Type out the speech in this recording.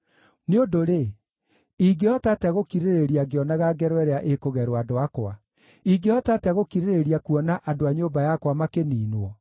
Nĩ ũndũ-rĩ, ingĩhota atĩa gũkirĩrĩria ngĩonaga ngero ĩrĩa ĩkũgerwo andũ akwa? Ingĩhota atĩa gũkirĩrĩria kuona andũ a nyũmba yakwa makĩniinwo?”